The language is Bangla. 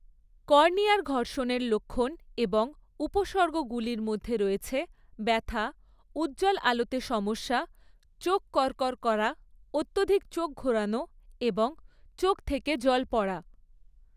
কর্নিয়ার ঘর্ষণের লক্ষণ এবং উপসর্গগুলির মধ্যে রয়েছে ব্যথা, উজ্জ্বল আলোতে সমস্যা, চোখ করকর করা, অত্যধিক চোখ ঘোরানো এবং চোখ থেকে জল পড়া।